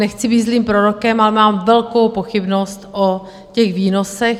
Nechci být zlým prorokem, ale mám velkou pochybnost o těch výnosech.